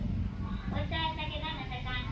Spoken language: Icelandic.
Og sagðist ekki nenna þessu hangsi.